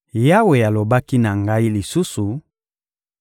Yawe alobaki na ngai lisusu: